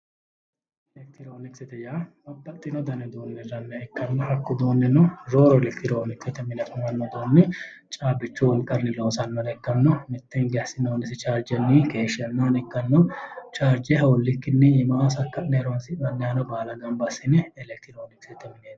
Elelkitiroonikisete yaa baxxino dani uduunne hirranniha ikkanna hakku uduunnino rooru elekitiroonisete mine caabbichu wolqanni loosannore ikkanna mitte hinge assinoonnisi chaarjenni chaarjenni keeshshannohano ikkanno chaarje hoollikkinni iimaho sakka'ne horonsi'nanniha baala gamba assine elekitiroonikisete mineeti yinanni